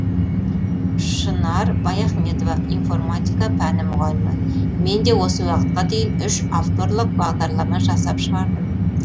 шынар баяхметова информатика пәні мұғалімі мен де осы уақытқа дейін үш авторлық бағдарлама жасап шығардым